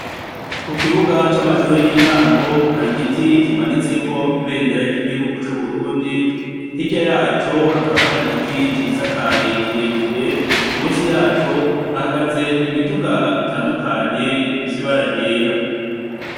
Ku kibuga c'amashure y'intango, hari igiti kimanutseko ibendera ry'igihugu cub'Uburundi, hirya yaco hakaba yari igiti cisakaye kirere, musi yaco hahagaze imiduga itandukanye ifise ibara ryera.